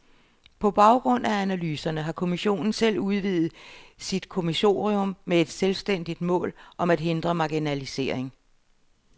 På baggrund af analyserne har kommissionen selv udvidet sit kommissorium med et selvstændigt mål om at hindre marginalisering.